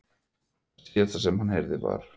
Það síðasta sem hann heyrði var.